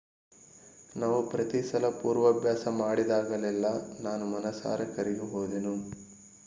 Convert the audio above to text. ನಾವು ಪ್ರತಿಸಲ ಪೂರ್ವಾಭ್ಯಾಸ ಮಾಡಿದಾಗಲೆಲ್ಲಾ ನಾನು ಮನಸಾರೆ ಕರಗಿ ಹೋದೆನು